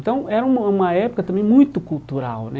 Então, era um uma época também muito cultural, né?